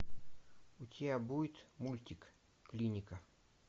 у тебя будет мультик клиника